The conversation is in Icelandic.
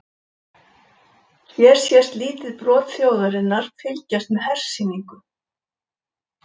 Hér sést lítið brot þjóðarinnar fylgjast með hersýningu.